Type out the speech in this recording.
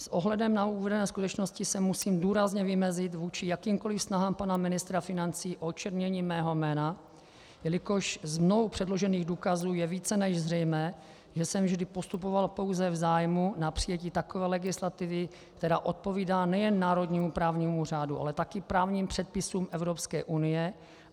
S ohledem na uvedené skutečnosti se musím důrazně vymezit vůči jakýmkoli snahám pana ministra financí o očernění mého jména, jelikož z mnou předložených důkazů je více než zřejmé, že jsem vždy postupoval pouze v zájmu o přijetí takové legislativy, která odpovídá nejen národnímu právnímu řádu, ale také právním předpisům Evropské unie.